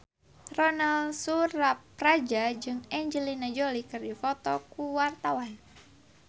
Ronal Surapradja jeung Angelina Jolie keur dipoto ku wartawan